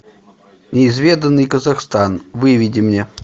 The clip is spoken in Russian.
неизведанный казахстан выведи мне